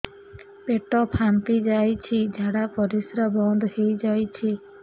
ପେଟ ଫାମ୍ପି ଯାଇଛି ଝାଡ଼ା ପରିସ୍ରା ବନ୍ଦ ହେଇଯାଇଛି